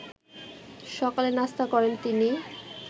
সকালের নাস্তা করেন তিনি